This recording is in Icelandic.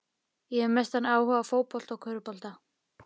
Ég hef mestan áhuga á fótbolta og körfubolta.